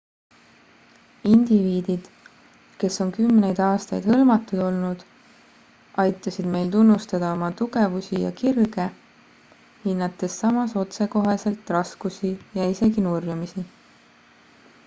indiviidid kes on kümneid aastaid hõlmatud olnud aitasid meil tunnustada oma tugevusi ja kirge hinnates samas otsekoheselt raskusi ja isegi nurjumisi